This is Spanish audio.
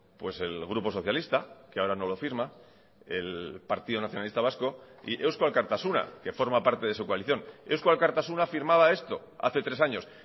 pues el grupo socialista que ahora no lo firma el partido nacionalista vasco y eusko alkartasuna que forma parte de su coalición eusko alkartasuna firmaba esto hace tres años